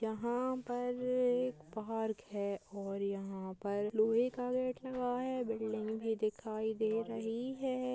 यहाँ पर एक पार्क है और यहाँ पर लोहै का गेट लगा है बिल्डिंग भी दिखाई दे रही है।